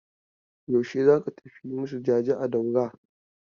Yaushe za ka tafi yi masu jaje a Daura?